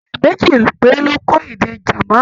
Ènìyàn méjì péré ló kọ́ èdè German.